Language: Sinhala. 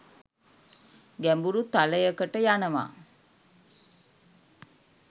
ගැඹුරු තලයකට යනවා.